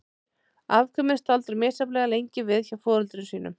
Afkvæmin staldra misjafnlega lengi við hjá foreldrum sínum.